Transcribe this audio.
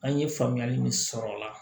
An ye faamuyali min sɔrɔ o la